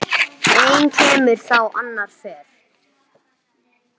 Einn kemur þá annar fer.